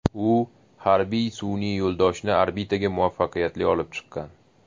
U harbiy sun’iy yo‘ldoshni orbitaga muvaffaqiyatli olib chiqqan.